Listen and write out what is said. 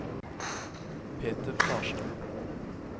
Peter Farstad